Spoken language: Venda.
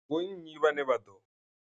Vho nnyi vhane vha ḓo.